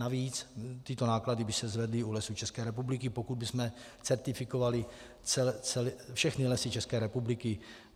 Navíc tyto náklady by se zvedly u Lesů České republiky, pokud bychom certifikovali všechny lesy České republiky.